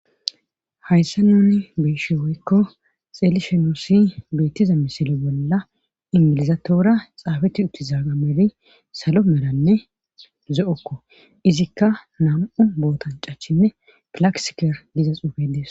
Hayssa nuni beeshi woykko xelishenusi beettiza misili bolla inmilizatoora xaabeti uttizaaga meli salo melanne zo'okko izikka nam'u bootancachinne kilaksiker diza xuufedees